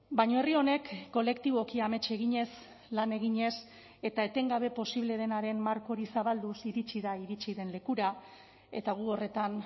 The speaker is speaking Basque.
baina herri honek kolektiboki amets eginez lan eginez eta etengabe posible denaren marko hori zabalduz iritsi da iritsi den lekura eta gu horretan